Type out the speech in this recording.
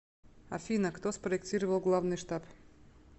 афина кто спроектировал главный штаб